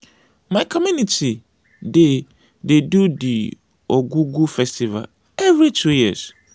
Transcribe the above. my community dey dey do di ogwugwu festival every two years.